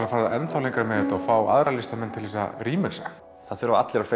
að fara enn þá lengra með þetta og fá aðra listamenn til þess að remix a það þurfa allir að